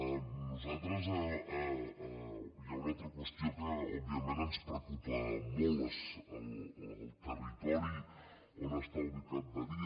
a nosaltres hi ha una altra qüestió que òbviament ens preocupa molt el territori on està ubicat badia